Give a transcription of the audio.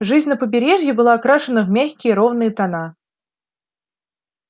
жизнь на побережье была окрашена в мягкие ровные тона